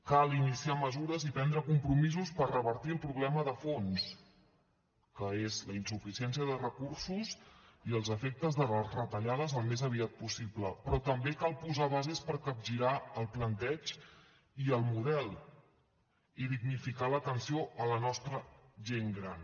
cal iniciar mesures i prendre compromisos per revertir el problema de fons que és la insuficiència de recursos i els efectes de les retallades al més aviat possible però també cal posar bases per capgirar el planteig i el model i dignificar l’atenció a la nostra gent gran